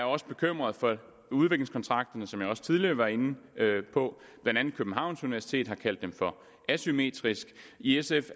også bekymret for udviklingskontrakterne som jeg også tidligere var inde på og blandt andet københavns universitet har kaldt dem for asymmetriske i sf